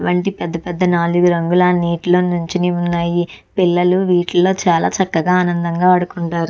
వంటి నాలుగు రంగులు నీటిలో నించుని ఉన్నాయి పిల్లలు వీటిలో చాలా చక్కగా ఆనందంగా అడుకుంటారు.